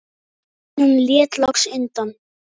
En hann lét loks undan.